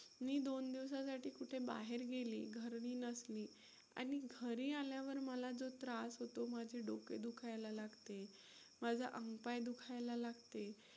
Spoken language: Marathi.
मी दोन दिवसांसाठी कुठे बाहेर गेले, घरी नसली आणि घरी आल्यावर मला जो त्रास होतो, माझे डोके दुखायला लागते, माझं अंग -पाय दुखायला लागते.